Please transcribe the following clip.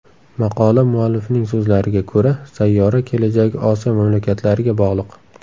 Maqola muallifining so‘zlariga ko‘ra, sayyora kelajagi Osiyo mamlakatlariga bog‘liq.